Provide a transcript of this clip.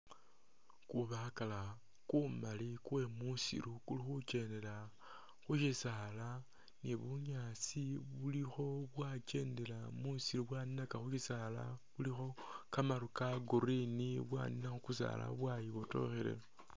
Kubakala kumali kwemusiru kuli khukyendela khushisaala ni bunyasi bulikho bwakyendela mwisiri bwaninaka khubisala khulikho kamaru ka green bwanina khukusala bwayibotokhelela.